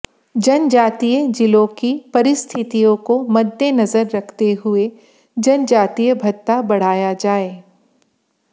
जनजातीय जिलों की परिस्थितियों को मद्देनजर रखते हुए जनजातीय भत्ता बढ़ाया जाए